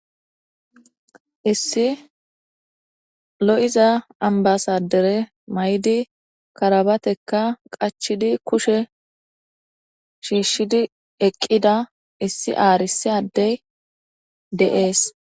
Issi lo7iza ambbasaadderee mayidi karabatekka qachchidi kushe shiishshidi eqqida issi arssa adde de7ees.